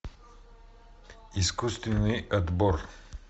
искусственный отбор